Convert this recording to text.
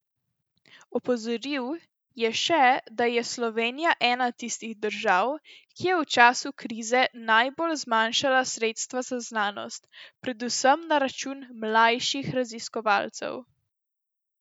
Opozoril je še, da je Slovenija ena tistih držav, ki je v času krize najbolj zmanjšala sredstva za znanost, predvsem na račun mlajših raziskovalcev.